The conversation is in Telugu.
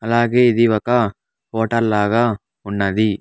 అలాగే ఇది ఒక హోటల్ లాగా ఉన్నది.